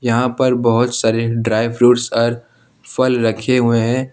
यहां पर बहोत सारी ड्राई फ्रूट्स और फल रखे हुए हैं।